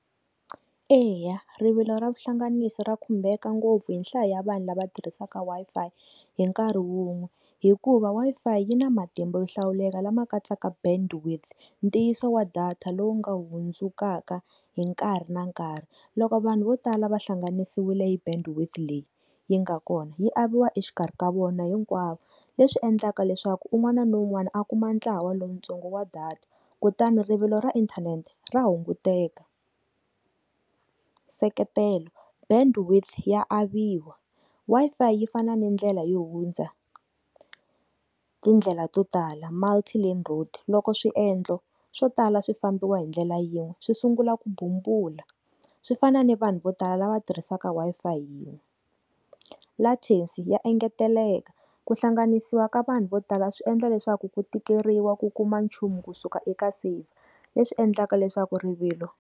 Eya, rivilo ra vuhlanganisi ri khumbeka ngopfu hi nhlayo ya vanhu lava tirhisaka Wi-Fi hi nkarhi wun'we hikuva Wi-Fi yi na matimba yo hlawuleka lama katsaka bandwidth ntiyiso wa data lowu nga hundzukaka hi nkarhi na nkarhi loko vanhu vo tala va hlanganisiwile hi bandwidth leyi yi nga kona yi aviwa exikarhi ka vona hinkwaswo leswi endlaka leswaku un'wana na un'wana a kuma ntlawa wa lowuntsongo wa data kutani rivilo ra inthanete ra hunguteka. Seketelo, bandwidth ya aviwa Wi-Fi yi fana ni ndlela yi hundza tindlela to tala multi land road loko swiendlo swo tala swifambiwa hi ndlela yin'we swi sungula ku bumbula swi fana ni vanhu vo tala lava tirhisaka Wi-Fi hi yini latefu ya engeteleka ku hlanganisiwa ka vanhu vo tala swi endla leswaku ku tikeriwa ku kuma nchumu kusuka eka save leswi endlaka leswaku rivilo.